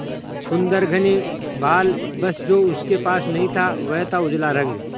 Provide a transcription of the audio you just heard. सुंदर घने बाल बस जो उसके पास नहीं था वह था उजला रंग